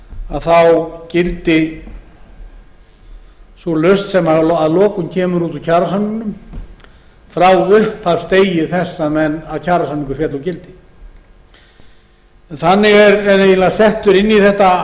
að þá gildi sú lausn kemur út úr kjarasamningnum frá upphafsdegi þess að kjarasamningur féll úr gildi þannig er eiginlega settur inn í þetta